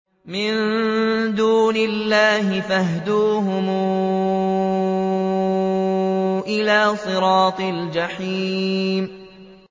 مِن دُونِ اللَّهِ فَاهْدُوهُمْ إِلَىٰ صِرَاطِ الْجَحِيمِ